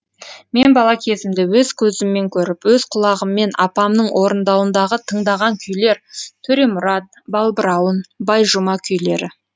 мен бала кезімде өз көзіммен көріп өз құлағыммен апамның орындауындағы тыңдаған күйлер төремұрат балбырауын байжұма күйлері